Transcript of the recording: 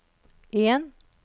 en